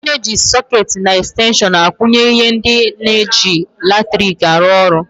Ana eji sôôketi na extenshon akwunye ihe ndị na -eji latriki arụ ọrụ.